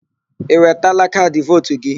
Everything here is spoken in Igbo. Ị wetala kaadị vootu gị?